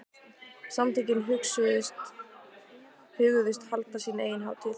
Samtökin hugðust halda sína eigin hátíð.